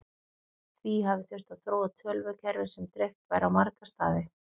því hafi þurft að þróa tölvukerfi sem dreift væri á marga staði